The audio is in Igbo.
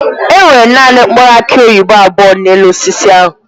Enwere naanị mkpụrụ aki oyibo abụọ n'elu osisi ahụ.